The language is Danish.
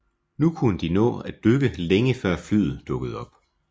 Nu kunne de nå at dykke længe før flyet dukkede op